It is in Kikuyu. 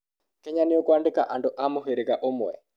Kenya nĩkuandĩka andũ a mũhĩrĩga ũmwe.